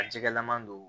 A jɛgɛlama don